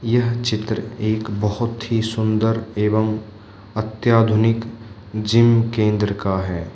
यह चित्र एक बहुत ही सुंदर एवं अत्याधुनिक जिम केंद्र का है।